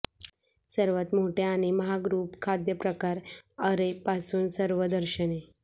सर्वात मोठया आणि महाग रुप खाद्यप्रकार अॅरे पासून सर्व दर्शनी